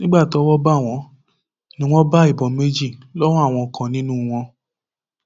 nígbà tọwọ bá wọn ni wọn bá ìbọn méjì lọwọ àwọn kan nínú wọn